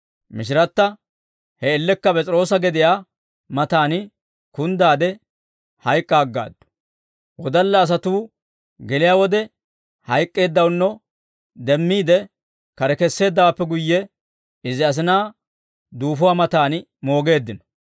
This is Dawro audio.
Mishiratta he man''iyaan P'es'iroosa gediyaa matan kunddaade hayk'k'a aggaaddu; wodalla asatuu geliyaa wode hayk'k'eeddawunno demmiide, kare kesseeddawaappe guyye, izi asinaa duufuwaa matan moogeeddino.